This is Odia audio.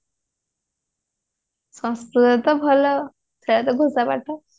ସଂସ୍କୃତ ତ ଭଲ ଥିଲା ଘୋଷା ପାଠ